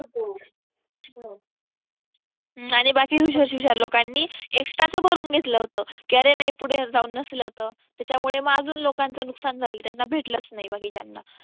आणि बाकीच्या हुशार लोकांनी extra च भरून घेतलं होतं की अरे नाही पुढे जाऊन नसलं तर त्याच्यामुळे मग अजून लोकांच नुकसान झालं त्यांना भेटलच नाही बाकीच्याना